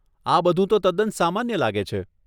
આ બધું તો તદ્દન સામાન્ય લાગે છે.